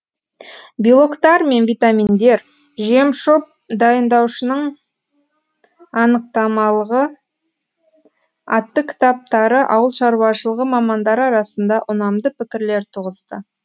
белоктар мен витаминдер жемшоп дайындаушының анықтамалығы атты кітаптары ауылшаруашылығы мамандары арасында ұнамды пікірлер туғызды